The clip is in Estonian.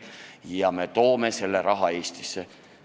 Ja me toome selle raha Eestisse.